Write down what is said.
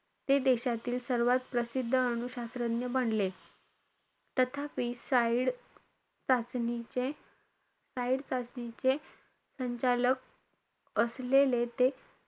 ते देशातील सर्वात प्रसिद्ध अनु शास्त्रज्ञ बनले. तथापि side चाचणीचे side चाचणीचे संचालक असलेले ते,